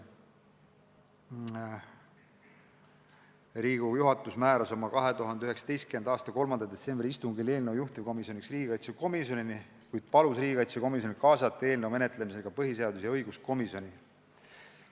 Riigikogu juhatus oli 2019. aasta 3. detsembri istungil määranud eelnõu juhtivkomisjoniks riigikaitsekomisjoni, kuid palunud sel eelnõu menetlemisse kaasata ka põhiseadus- ja õiguskomisjoni.